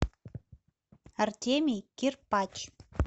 артемий кирпач